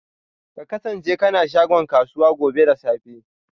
Ka kasance kana shagon kasuwa gobe da safe.